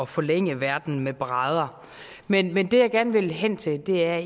forlænge verden med brædder men men det jeg gerne vil hen til er